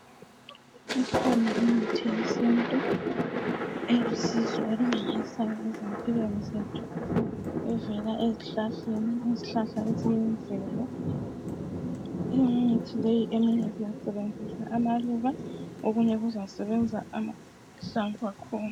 Ikhona imithi yesintu elusizo olumangalaisayo ngitsho evela ezihlahleni . Izihlahla eziyimvelo. Imithi leyi eminye sisebenzisa amahlamvu, eminye kusebenza impande zakhona.